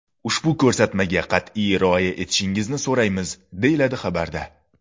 Ushbu ko‘rsatmaga qat’iy rioya etishingizni so‘raymiz”, deyiladi xabarda.